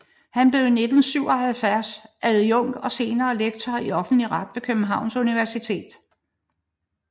Han blev i 1977 adjunkt og senere lektor i offentlig ret ved Københavns Universitet